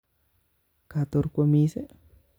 Katorkwomis'i